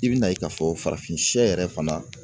I bi n'a ye k'a fɔ farafin siyɛ yɛrɛ fana.